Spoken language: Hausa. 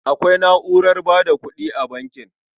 Akwai na'urar ba da kuɗi a bankin.